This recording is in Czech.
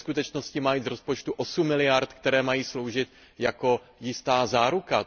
Ve skutečnosti mají z rozpočtu 8 miliard eur, které mají sloužit jako jistá záruka.